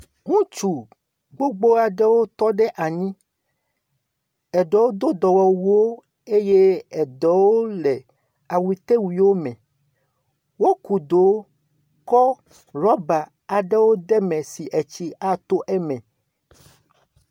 Ŋutsu gbogbo aɖewo tɔ ɖe anyi. Eɖowo do dɔmewuwo eye eɖewo le awutewuiwo me. Woku dowo kɔ rubber aɖewo de eme si tsi ato eme.